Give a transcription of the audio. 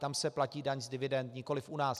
Tam se platí daň z dividend, nikoliv u nás.